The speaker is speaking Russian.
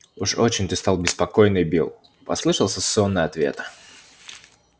уж очень ты стал беспокойный билл послышался сонный ответ